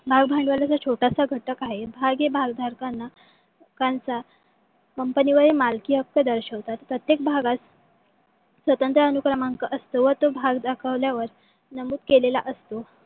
भाग भांडवलाचा छोटासा घटक आहे. भाग हे भागधरकांना लोकांचा कंपणीवरील मालकी हक्क दर्शवितात. प्रत्येक भागास स्वतंत्र अनू क्रमांक असतो. तो भाग दाखवल्यावर नमूद केलेला असतो.